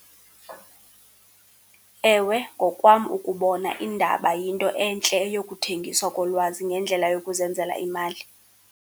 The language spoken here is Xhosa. Ewe, ngokwam ukubona iindaba yinto entle eyokuthengiswa kolwazi ngendlela yokuzenzela imali.